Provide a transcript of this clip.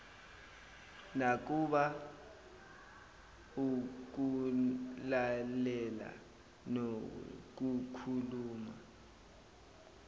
nakuba ukulalela nokukhuluma